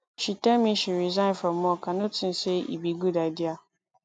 she tell me she resign from work i no think say e be good idea